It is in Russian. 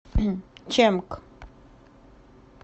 чэмк